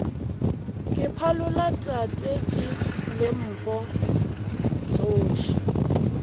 ke phalola tatedi lempo tsoši